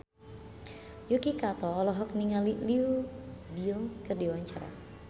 Yuki Kato olohok ningali Leo Bill keur diwawancara